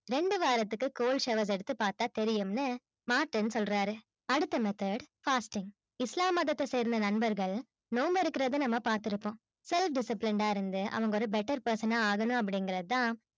ரெண்டு வாரத்துக்கு cold showers எடுத்து பாத்தா தெரியும்னு மார்டின் சொல்றாரு. அடுத்த method fasting இஸ்லாம் மதத்த சேர்ந்த நண்பர்கள் நோம்பு எடுக்குறத நம்ம பாத்திருப்போம். self discipline அ இருந்து அவுங்க ஒரு better person ஆகணும் அப்டிங்கிறதா